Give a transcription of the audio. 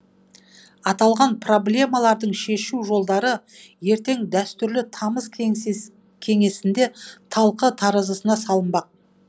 аталған проблемалардың шешу жолдары ертең дәстүрлі тамыз кеңесінде талқы таразысына салынбақ